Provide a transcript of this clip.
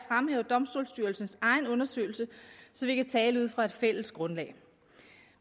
fremhæve domstolsstyrelsens egen undersøgelse så vi kan tale ud fra et fælles grundlag